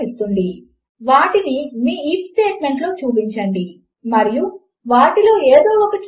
మీకు ఇవి చాలా ఉపయోగకరముగా అనిపిస్తాయి ఎందుకు అంటే మీరు ఉదాహరణకు ఇలా చెప్పాలి అని అనుకోవచ్చు - ఇది చాలా క్లాసిక్ ఉదాహరణ